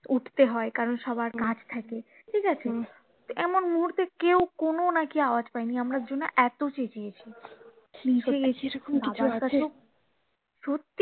উঠতে হয় কারণ সবার কাজ থাকে ঠিকাছে তো এমন মুহূর্তে কেউ কোনো নাকি আওয়াজ পায় নি আমরা দুজন এতো চেঁচিয়েছি সত্যি